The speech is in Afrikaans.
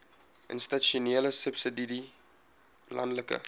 institusionele subsidie landelike